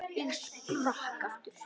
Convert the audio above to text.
Ég sprakk aftur.